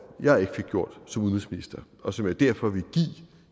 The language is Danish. jeg ikke fik gjort som udenrigsminister og som jeg derfor vil give